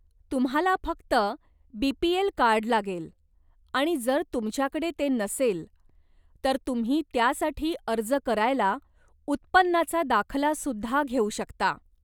तुम्हाला फक्त BPL card लागेल आणि जर तुमच्याकडे ते नसेल, तर तुम्ही त्यासाठी अर्ज करायला उत्पन्नाचा दाखला सुद्धा घेऊ शकता.